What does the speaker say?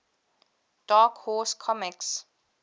dark horse comics